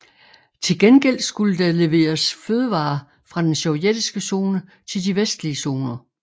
Til gengæld skulle der leveres fødevarer fra den sovjetiske zone til de vestlige zoner